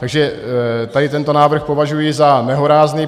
Takže tady tento návrh považuji za nehorázný.